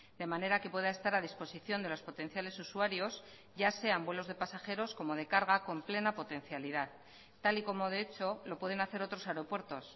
de manera que pueda estar a disposición de los potenciales usuarios ya sean vuelos de pasajeros como de carga con plena potencialidad tal y como de hecho lo pueden hacer otros aeropuertos